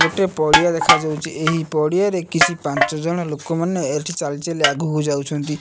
ଗୋଟେ ପଡ଼ିଆ ଦେଖା ଯାଉଚି ଏହି ପଡ଼ିଆ ରେ କିଛି ପାଞ୍ଚ ଜଣ ଲୋକ ମାନେ ଏଠି ଚାଲି ଚାଲି ଆଗକୁ ଯାଉଛନ୍ତି।